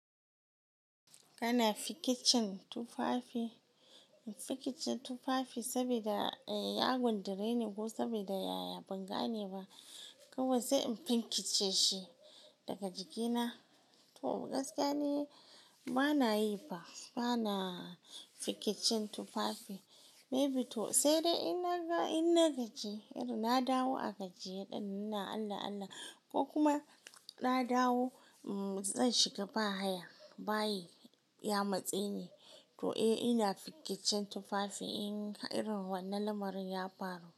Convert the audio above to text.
Kana fikicin tufafi? Fikice tufafi sabida ya gundure ni ko sabida yaya ban gane ba, kawai sai in finkice shi daga jiki na to gaskiya ni bana yi ba, bana fikicin tufafi. May be to sai dai in naga in na gaji, irin na dawo a gajiye dinnan, ina Allah Allah ko kuma na dawo zan shiga baya. Bayi ya matse ni to eh ina fikicin tufafi in irin wannan lamarin ya faru.